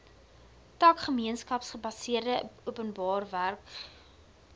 tak gemeenskapsgebaseerde openbarewerkeprogramme